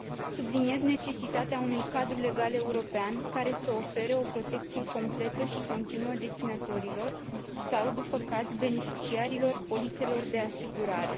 Subliniez necesitatea unui cadru legal european, care să ofere o protecție completă și continuă deținătorilor sau, după caz, beneficiarilor polițelor de asigurare.